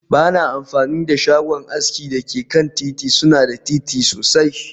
Ba na amfani da shagon aski da ke kan titi, suna da datti sosai